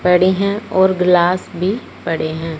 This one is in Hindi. पड़ी हैं और ग्लास भी पड़े हैं।